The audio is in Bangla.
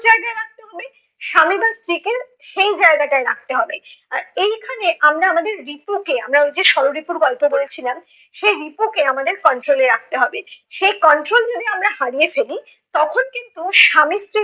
জায়গায় রাখতে হবে। স্বামী বা স্ত্রীকে সেই জায়গাটায় রাখতে হবে। আর এইখানে আমরা আমাদের রিপুকে আমারা অই যে ষররিপুর গল্প বলেছিলাম, সেই রিপুকে আমাদের control এ রাখতে হবে। সে control যদি আমরা হারিয়ে ফেলি, তখন কিন্তু স্বামী স্ত্রীর